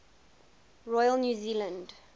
royal new zealand